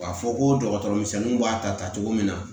K'a fɔ ko dɔgɔtɔrɔmisɛnninw b'a ta ta cogo min na